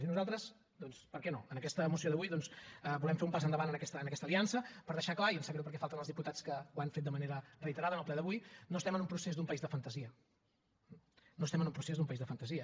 i nosaltres doncs per què no en aquesta moció d’avui volem fer un pas endavant en aquesta aliança per deixar clar i em sap greu perquè falten els diputats que ho han fet de manera reiterada en el ple d’avui que no estem en un procés d’un país de fantasia no estem en un procés d’un país de fantasia